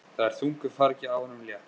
Það er þungu fargi af honum létt.